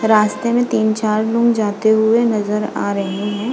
रास्ते में तीन-चार लोग जाते हुए नज़र आ रहे हैं।